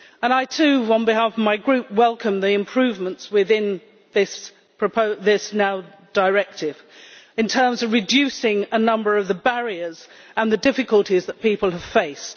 I, too, on behalf of my Group, welcome the improvements within this directive in terms of reducing a number of the barriers and the difficulties that people have faced.